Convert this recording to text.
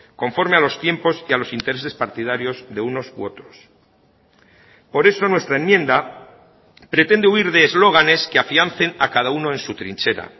conforme a los tiempos y a los intereses partidarios de unos u otros por eso nuestra enmienda pretende huir de eslóganes que afiancen a cada uno en su trinchera